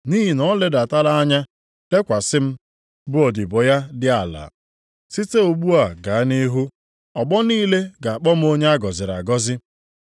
nʼihi na o ledatala anya, lekwasị m, bụ odibo ya dị ala. Site ugbu a gaa nʼihu, ọgbọ niile ga-akpọ m onye a gọziri agọzi.